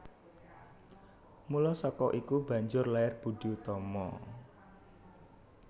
Mula saka iku banjur lair Boedi Oetomo